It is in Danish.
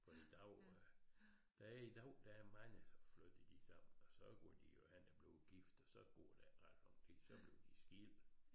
For i dag øh der er i dag der er mange så flytter de sammen og så går de jo hen og bliver gift og så går er ikke ret lang tid så bliver de skilt